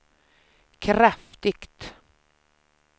kraftigt